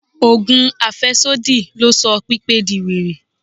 Ogùn afesodi ló sọ Pípé di were.